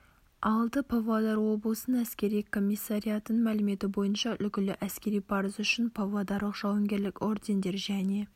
алды павлодар облысының әскери комиссариатының мәліметі бойынша үлгілі әскери парызы үшін павлодарлық жауынгерлік ордендер және